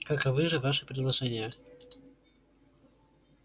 каковы же ваши предложения